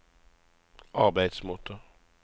arbeidsmåte